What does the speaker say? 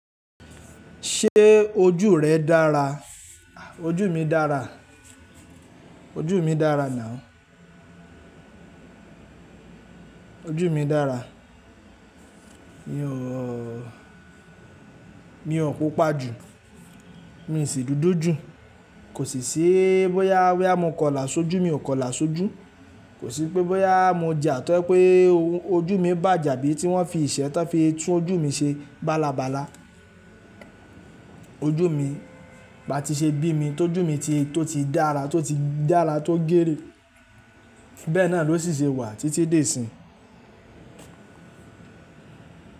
Ṣé ojú rẹ dára? Ojú mi dára, ojú mi dára now. Ojú mi dára. Mi ò, mi ò pupa jù, mi sì dúdú jù, kò sì sí bóyá, bóyá mo kọlà sójú mi ò kọlà sójú. Kò sí pé bóyá mo jà tó jẹ́ pé ojú mi bàjẹ́ àbí tí wọ́n fi iṣẹ́ tán fi tún ojú mi ṣe bálabàla. Ojú mi bá ti ṣe bí mi, tó jù mí tí tó ti dára, tó ti dára tó géèrè. Bẹ́ẹ̀ náà ló sì ṣe wà títí di ìsinyìí.